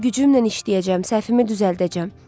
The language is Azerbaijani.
Var gücümlə işləyəcəm, səhvimi düzəldəcəm.